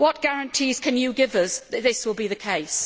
What guarantees can you give us that this will be the case?